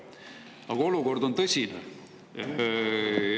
Aga olukord on tõsine.